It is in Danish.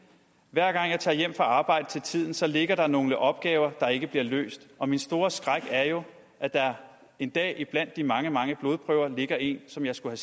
hver gang jeg tager hjem fra arbejde til tiden så ligger der nogle opgaver der ikke bliver løst og min store skræk er jo at der en dag iblandt de mange mange blodprøver ligger én som jeg skulle